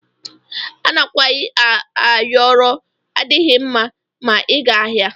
Anakwayi ayọrọ adighi mma ma iga ahia.